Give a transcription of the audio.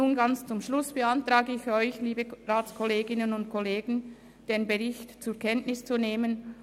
Ich beantrage Ihnen, den Bericht zur Kenntnis zu nehmen.